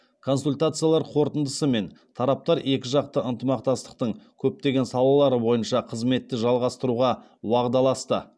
консультациялар қорытындысымен тараптар екіжақты ынтымақтастықтың көптеген салалары бойынша қызметті жалғастыруға уағдаласты